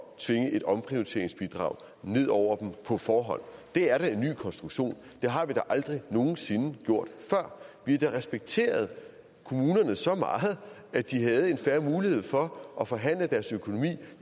at tvinge et omprioriteringsbidrag ned over dem på forhånd det er da en ny konstruktion det har vi aldrig nogen sinde gjort før vi har da respekteret kommunerne så meget at de havde en fair mulighed for at forhandle deres økonomi